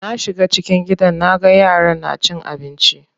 Na shiga cikin gidan naga yaran na cin abinci.